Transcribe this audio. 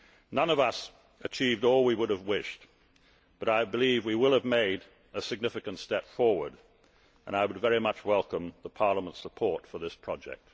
None of us achieved all we would have wished, but I believe we will have made a significant step forward, and I would very much welcome Parliament's support for this project.